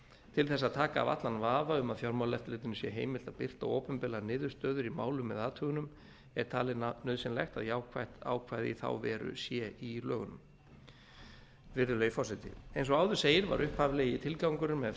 til þess að taka af allan vafa um að fjármálaeftirlitinu sé heimilt að birta opinberlega niðurstöður í málum eða athugunum er talið nauðsynlegt að jákvætt ákvæði í þá veru sé í lögunum virðulegi forseti eins og áður segir var upphaflegi tilgangurinn með